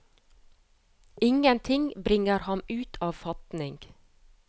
Ingenting bringer ham ut av fatning.